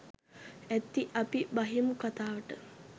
ඇති අපි බහිමු කතාවට.